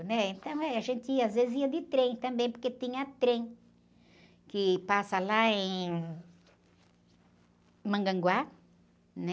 né? Então, eh, a gente às vezes ia de trem também, porque tinha trem que passa lá em Mongaguá, né?